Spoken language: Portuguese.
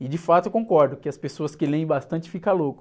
E de fato eu concordo que as pessoas que leem bastante ficam loucos.